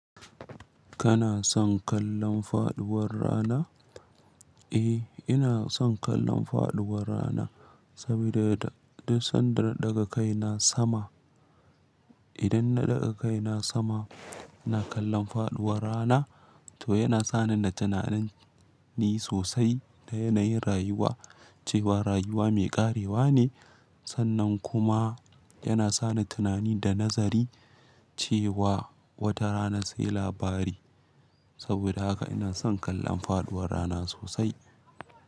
Kana son kallon faɗuwar rana? Eh, ina son kallon faɗuwar rana saboda duk sanda na ɗaga kai na sama. Idan na ɗaga kai na sama, na kalla faɗuwar rana to yana sani na tunanin sosai da yanayin rayuwa cewa rayuwa mai ƙarewa ne. Sannan kuma yana sani tunani da nazari cewa wata rana sai labari. Saboda haka ina son kallon faɗuwar rana sosai.